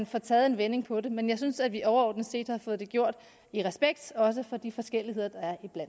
får taget en vending på det men jeg synes at vi overordnet set har fået det gjort i respekt også for de forskelligheder der